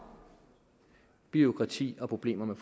bureaukrati og problemer med